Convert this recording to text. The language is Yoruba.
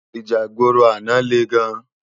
Íjà igbóró àná lé gán